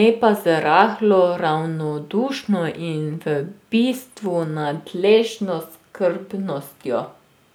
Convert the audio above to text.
ne pa z rahlo ravnodušno in v bistvu nadležno skrbnostjo.